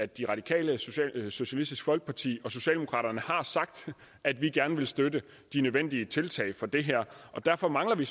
de radikale socialistisk folkeparti og socialdemokraterne har sagt at vi gerne vil støtte de nødvendige tiltag for det her og derfor mangler vi